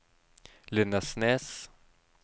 Lindesnes